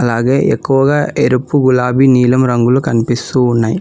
అలాగే ఎక్కువగా ఎరుపు గులాబీ నీలం రంగులు కనిపిస్తూ ఉన్నాయి.